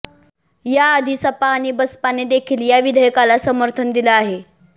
याआधी सपा आणि बसपाने देखील या विधेयकाला समर्थन दिलं आहे